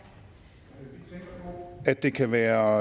det at vi kan være